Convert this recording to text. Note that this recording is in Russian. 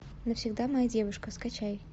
навсегда моя девушка скачай